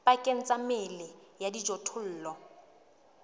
pakeng tsa mela ya dijothollo